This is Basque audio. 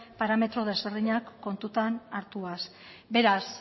parametro ezberdinak kontuan hartuz beraz